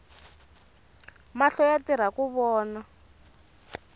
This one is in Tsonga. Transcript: mahlo yatirhaku vona